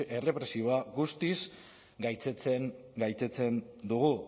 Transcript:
errepresiboa guztiz gaitzesten dugu